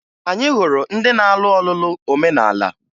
Anyị hụrụ ndị na-alụ ọlụlụ omenala